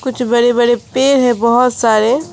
कुछ बड़े बड़े पेड़ हैं बहुत सारे--